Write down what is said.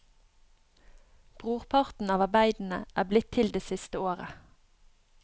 Brorparten av arbeidene er blitt til det siste året.